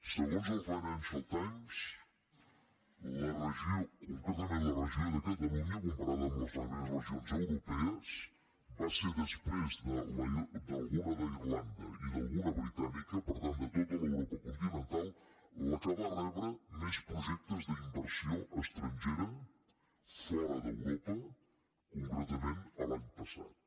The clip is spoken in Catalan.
segons el financial times concretament la regió de catalunya comparada amb les altres regions europees va ser després d’alguna d’irlanda i d’alguna britànica per tant de tota l’europa continental la que va rebre més projectes d’inversió estrangera fora d’europa concretament l’any passat